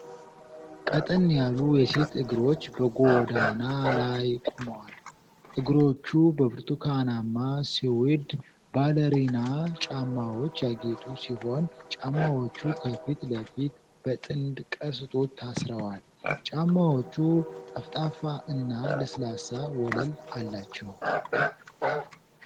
ቀጠን ያሉ የሴት እግሮች በጎዳና ላይ ቆመዋል። እግሮቹ በብርቱካናማ ሱዊድ ባለሪና ጫማዎች ያጌጡ ሲሆን ጫማዎቹ ከፊት ለፊት በጥንድ ቀስቶች ታስረዋል። ጫማዎቹ ጠፍጣፋ እና ለስላሳ ወለል አላቸው።